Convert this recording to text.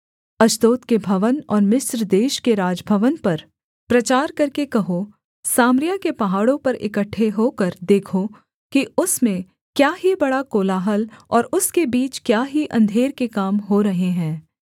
Ashdod के भवन और मिस्र देश के राजभवन पर प्रचार करके कहो सामरिया के पहाड़ों पर इकट्ठे होकर देखो कि उसमें क्या ही बड़ा कोलाहल और उसके बीच क्या ही अंधेर के काम हो रहे हैं